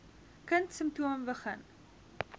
kind simptome begin